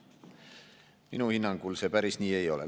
Minu hinnangul see päris nii ei ole.